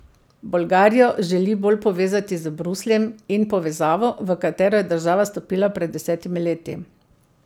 Bolgarijo želi bolj povezati z Brusljem in povezavo, v katero je država stopila pred desetimi leti.